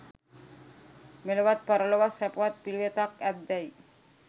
මෙලොවත් පරලොවත් සැපවත් පිළිවෙතක් ඇත්දැයි